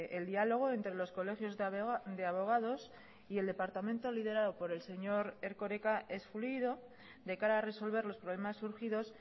el diálogo entre los colegios de abogados y el departamento liderado por el señor erkoreka es fluido de cara a resolver los problemas surgidos